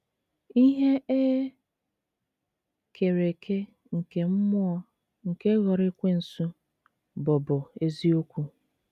Ihe e kere eke nke mmụọ nke ghọrọ Ekwensu bụbu eziokwu.